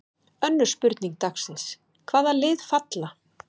Önnur spurning dagsins: Hvaða lið falla?